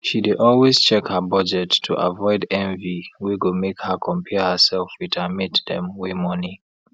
she dey always check her budget to avoid envy wey go make her compare herself with her mate dem wey money